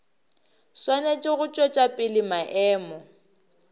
swanetše go tšwetša pele maemo